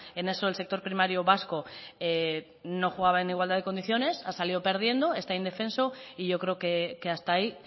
en eso el sector primario vasco no jugaba en igualdad de condiciones ha salido perdiendo está indefenso y yo creo que hasta ahí